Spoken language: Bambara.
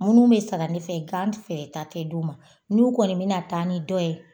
Munnu be sana ne fɛ gan feereta tɛ d'u ma, n'u kɔni min taa ni dɔ ye